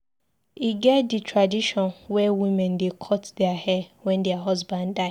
E get di tradition wey women dey cut their hair wen their husband die.